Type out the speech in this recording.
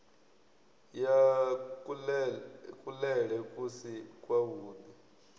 ya kuḽele ku si kwavhuḓi